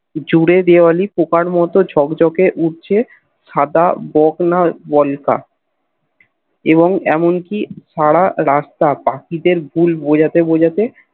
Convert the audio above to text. জোরে দেবলি পোকার মোতো ঝকঝকে উড়ছে সাদা বকনা বলকা এবং এমনকি সারা রাস্তা পাখিদের গুল বোঝাতে বোঝাতে